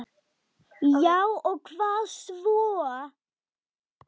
Já og hvað svo!